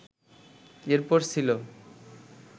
এর পর ছিল